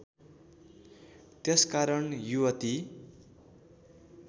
त्यसकारण युवती